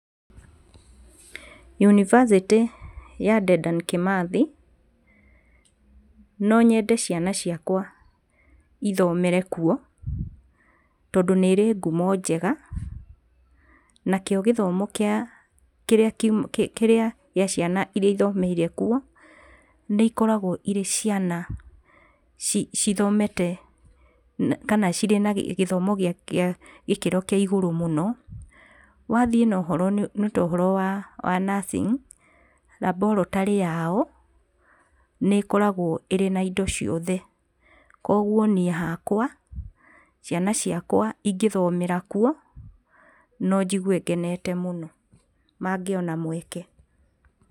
Yunibacĩtĩ ya Dedan Kimathi no nyende ciana ciakwa ithomere kũu tondũ nĩ ĩrĩ ngumo njega, nakio gĩthomo kĩrĩa gĩa ciana iria ithomeire kũu nĩ ikoragwo cirĩ ciana cithomete kana cirĩ na gĩthomo gĩa gĩkĩro kĩa igũrũ mũno. Wathiĩ nĩ to ũhoro wa nursing, Laboratory yao nĩ ĩkoragwo ĩrĩ na indo ciothe, kwoguo niĩ hakwa ciana ciakwa ingĩthomera kuo no njigue ngenete mũno mangĩona mweke.